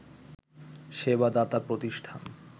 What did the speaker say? সেবা দাতা প্রতিষ্ঠান